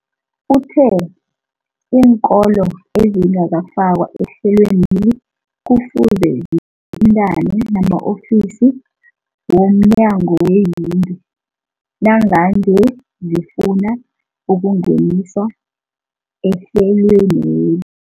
Uthe iinkolo ezingakafakwa ehlelweneli kufuze zithintane nama-ofisi womnyango weeyingi nangange zifuna ukungeniswa ehlelweni.